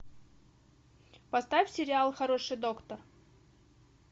поставь сериал хороший доктор